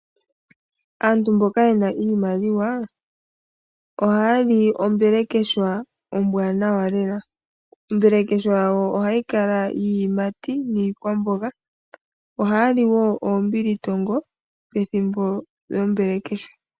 Aantu mboka yena iimaliwa ohaya li ombelekeshwa ombwanawa lela. ombelekeshwa wo, ohayi kala iiyimati niikwamboga. Ohaya li wo oombilitongo pethimbo lyombelekeshwa.